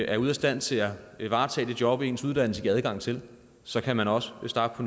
er ude af stand til at varetage det job som ens uddannelse giver adgang til så kan man også starte på